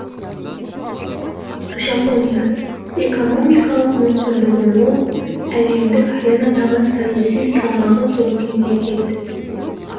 жапония экономикалық мүмкіндігі мол әлемдік аренадағы саяси салмағы зор мемлекет